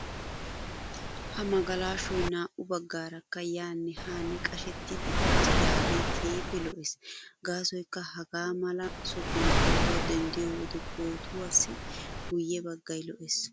Ha magalashoy naa"u baggaarakka yaanne haanne qashetti uttidaagee keehippe lo"ees. Gaasoykka hagaa mala sohuwan pootuwa denddiyo wode pootuwassi guyye baggay lo"ees.